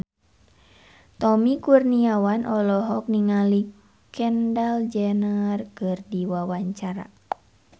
Tommy Kurniawan olohok ningali Kendall Jenner keur diwawancara